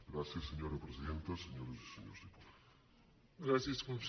gràcies senyora presidenta senyores i senyors diputats